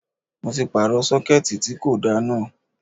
Mo ti pààrọ̀ Sọ́kẹ́tì tí kò da náà.